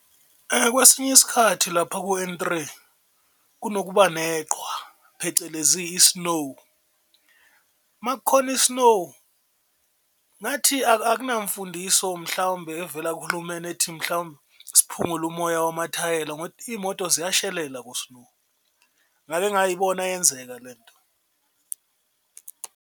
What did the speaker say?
Kwesinye isikhathi lapha ku-N-three kunokuba neqhwa phecelezi i-snow uma kukhona i-snow ngathi akunamfundiso mhlawumbe evela kuhulumeni ethi mhlawumbe siphungule umoya wamathayela iy'moto ziyashelelela ku-snow, ngake ngayibona yenzeka lento.